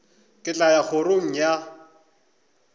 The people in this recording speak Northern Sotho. ke tla ya kgorong ya